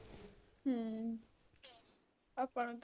ਹਮ ਆਪਾਂ ਨੂੰ ਤਾਂ